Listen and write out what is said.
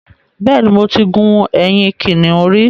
Bẹ́ẹ̀ ni, mo ti gun ẹ̀yìn kìnnìún rí